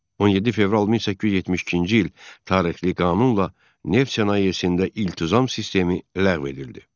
17 fevral 1872-ci il tarixli qanunla neft sənayesində iltizam sistemi ləğv edildi.